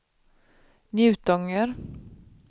Njutånger